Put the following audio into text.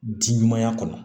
Ji ɲumanya kɔnɔ